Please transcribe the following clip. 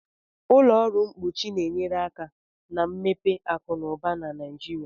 Ụlọ ọrụ mkpuchi na-enyere aka na mmepe akụ na ụba na Nigeria